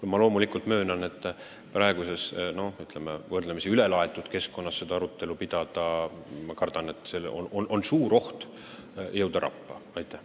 Samas ma möönan, et kui praeguses ülesköetud õhkkonnas seda arutelu pidada, siis on kardetavasti suur oht rappa minna.